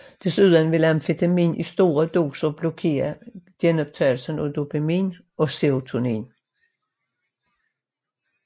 Desuden vil amfetamin i store doser blokere genoptagelsen af dopamin og serotonin